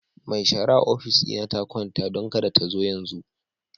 Mai shara a ofis dina ta kwanta, don kada ta zo yanzu.